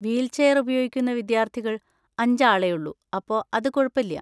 Wheelchair ഉപയോഗിക്കുന്ന വിദ്യാർത്ഥികൾ അഞ്ച് ആളെയുള്ളൂ, അപ്പൊ അത് കുഴപ്പല്യ.